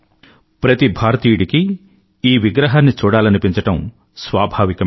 ప్రతి భారతీయుడికీ ఈ విగ్రహాన్ని చూడాలనిపించడం స్వాభావికమే